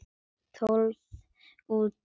Tólf út.